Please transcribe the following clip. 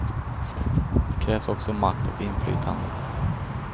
Det krävs också makt och inflytande.